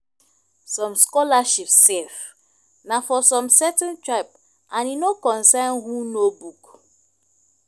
som scholarship sef na for som certain tribe and e no concern who know book